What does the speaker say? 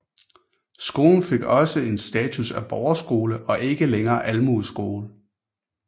Skolen fik også en status af borgerskole og ikke længere almueskole